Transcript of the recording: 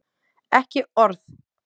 ekki orð!